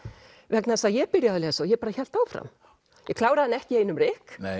vegna þess að ég byrjaði að lesa og hélt áfram ég kláraði hana ekki í einum rykk